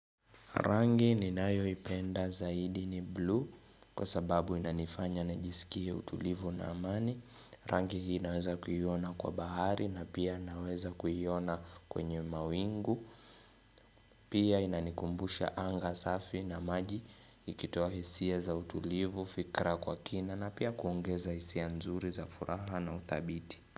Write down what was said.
Rangi ninayo ipenda zaidi ni blue kwa sababu inanifanya njisikie utulivu na amani. Rangi hii naweza kuyiona kwa bahari na pia naweza kuyiona kwenye mawingu. Pia inanikumbusha anga safi na maji ikitowa hisia za utulivu fikra kwa kina na pia kuongeza hisia nzuri za furaha na utabiti.